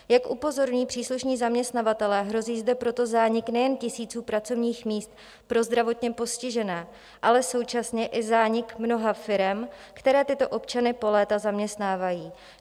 Jak upozorňují příslušní zaměstnavatelé, hrozí zde proto zánik nejen tisíců pracovních míst pro zdravotně postižené, ale současně i zánik mnoha firem, které tyto občany po léta zaměstnávají.